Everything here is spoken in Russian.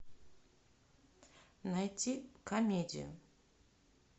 найти комедию